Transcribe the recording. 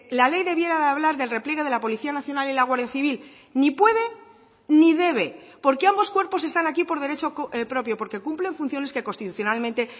la ley debiera de hablar del repliegue de la policía nacional y la guardia civil ni puede ni debe porque ambos cuerpos están aquí por derecho propio porque cumplen funciones que constitucionalmente